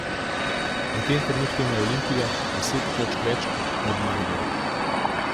V tem trenutku ima Olimpija deset točk več od Maribora.